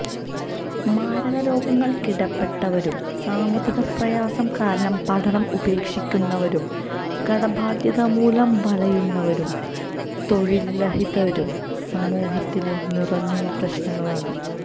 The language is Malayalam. മാരക രോഗങ്ങള്ക്കടിപ്പെട്ടവരും സാമ്പത്തികപ്രയാസം കാരണം പഠനം ഉപേക്ഷിക്കുന്നവരും കടബാധ്യത മൂലം വലയുന്നവരും തൊഴില്രഹിതരും സമൂഹത്തിലെ നീറുന്ന പ്രശ്നങ്ങളാണ്